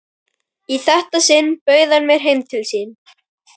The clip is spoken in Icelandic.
Í þetta sinn bauð hann mér heim til sín.